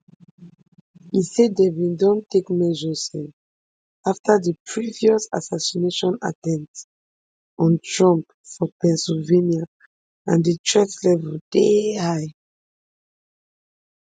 e say dem bin don take measures um afta di previous assassination attempt on trump for pennsylvania and di threat level dey high